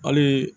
Hali